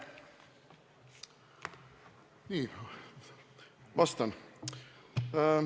Nii, vastan.